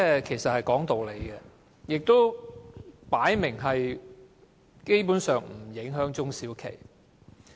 這是講理，而且分明不會影響中小企。